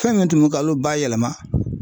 Fɛn min tun bɛ kalo bayɛlɛma.